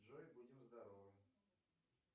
джой будем здоровы